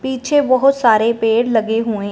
पीछे बहौत सारे पेड़ लगे हुए--